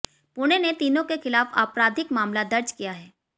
पुणे ने तीनों के खिलाफ आपराधिक मामला दर्ज किया है